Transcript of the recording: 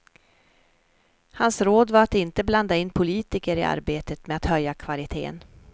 Hans råd var att inte blanda in politiker i arbetet med att höja kvaliteten.